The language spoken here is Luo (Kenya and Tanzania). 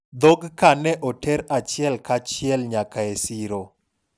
dhog ka ne oter achiel ka chiel nyaka e siro